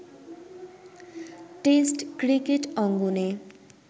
test cricket অঙ্গনে